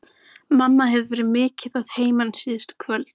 Mamma hefur verið mikið að heiman síðustu kvöld.